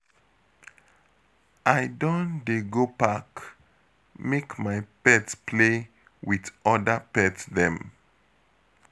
I don dey go park, make my pet play wit oda pet dem.